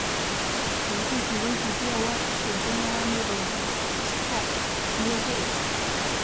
ĩ hihi wĩigĩthĩa wa ũcejanĩa wa Nairobi stock nĩũgũite